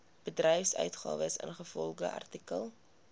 voorbedryfsuitgawes ingevolge artikel